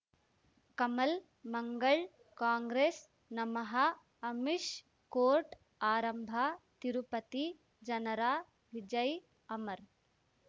ಕಮಲ್ ಮಂಗಳ್ ಕಾಂಗ್ರೆಸ್ ನಮಃ ಅಮಿಷ್ ಕೋರ್ಟ್ ಆರಂಭ ತಿರುಪತಿ ಜನರ ವಿಜಯ್ ಅಮರ್